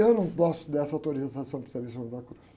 Eu não gosto dessa para San Juan de la Cruz.